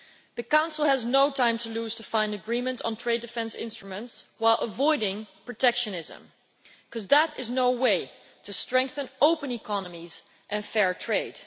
The Council has no time to lose in finding agreement on trade defence instruments while avoiding protectionism, because that is no way to strengthen open economies and fair trade.